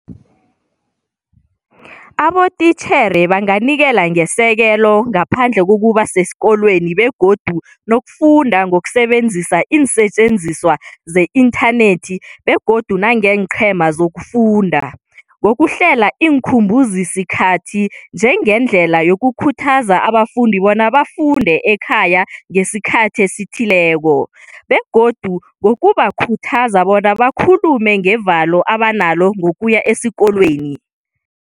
Abotitjhere banganikela ngesekelo ngaphandle kokuba sesikolweni begodu nokufunda ngokusebenzisa iinsetjenziswa ze-inthanethi begodu nangeenqhema zokufunda, ngokuhlela iinkhumbuzisikhathi njengendlela yokukhuthaza abafundi bona bafunde ekhaya ngesikhathi esithileko, begodu ngokubakhuthaza bona bakhulume ngevalo abanalo ngokuya esikolweni.